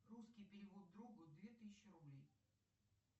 русский перевод другу две тысячи рублей